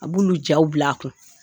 A b'olu jaw bil' a kun